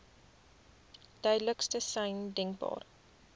duidelikste sein denkbaar